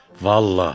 Vallahi.